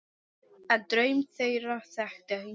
En draum þeirra þekkti enginn.